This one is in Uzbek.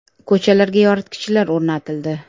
Ko‘chalarga yoritgichlar o‘rnatildi.